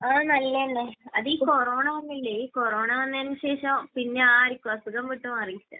ആ. നല്ലത് തന്നെ. അത് ഈ കൊറോണ വന്നില്ലേ? ഈ കൊറോണ വന്നതിന് ശേഷം പിന്നെ ആർക്കും അസുഖം വിട്ട് മാറിയിട്ടില്ല.